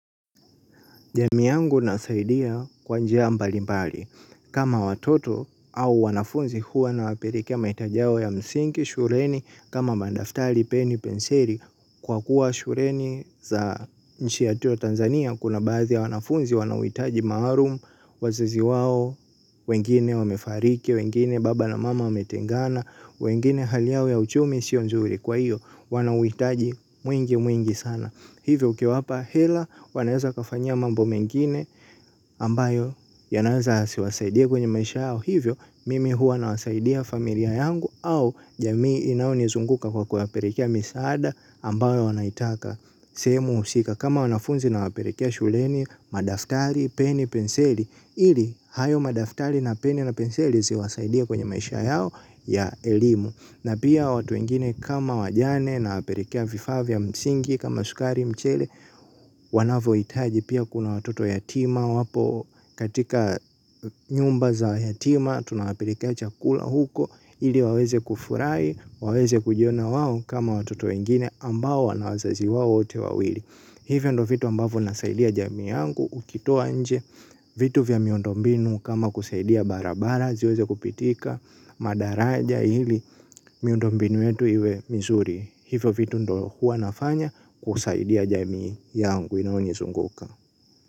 Jamii yangu nasaidia kwa njia mbali mbali. Kama watoto au wanafunzi huwa nawapelekea mahitaji yao ya msingi, shuleni, kama madaftari, peni, penseli. Kwa kuwa shuleni za nchi yetu ya Tanzania, kuna baadhi ya wanafunzi, wanaohitaji maalum, wazazi wao, wengine wamefariki, wengine baba na mama wametengana, wengine hali yao ya uchumi, sio nzuri kwa hiyo, wanauhitaji mwingi mwingi sana. Hivyo ukiwapa hela wanaeza wakafanyia mambo mengine ambayo yanaweza yasiwasaidie kwenye maisha yao. Hivyo mimi huwa nawasaidia familia yangu au jamii inaonizunguka kwa kuwapelekea misaada ambao wanaitaka. Sehemu husika kama wanafunzi nawapelekea shuleni, madaftari, peni, penseli ili, hayo madaftari na peni na penseli ziwasaidie kwenye maisha yao ya elimu. Na pia watu wengine kama wajane nawapelekea vifaa vya msingi kama sukari mchele. Wanavyohitaji pia kuna watoto yatima wapo katika nyumba za yatima. Tuna wapelekea chakula huko, ili waweze kufurahi, waweze kujiona wao kama watoto wengine ambao wana wazazi wote wawili. Hivyo ndo vitu ambavyo nasaidia jamii yangu ukitoa nje vitu vya miondo mbinu kama kusaidia barabara ziweze kupitika madaraja ili miondo mbinu yetu iwe mizuri. Hivyo vitu ndo huwa nafanya kusaidia jamii yangu inaonizunguka.